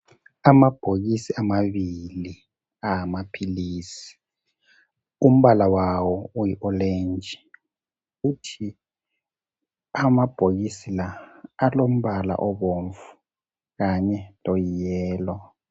Amabhokisi amabili awamaphilizi umbala wawo uyiolenji kuthi amabhokisi la alombala obomvu kanye loyiyellow.